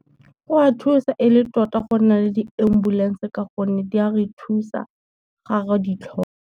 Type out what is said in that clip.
Go o a thusa e le tota go nna le di-ambulance ka gonne di a re thusa ga re di tlhoka.